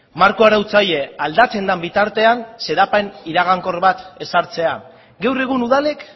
marko arautzaile aldatzen den bitartean xedapen iragankor bat ezartzea gaur egun udalek